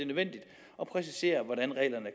at man ikke siger